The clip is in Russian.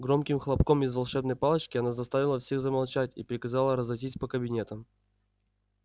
громким хлопком из волшебной палочки она заставила всех замолчать и приказала разойтись по кабинетам